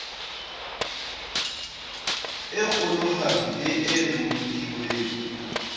e kgolohadi le e bolokilweng